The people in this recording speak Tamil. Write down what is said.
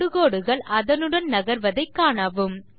தொடுகோடுகள் அதனுடன் நகர்வதை காணவும்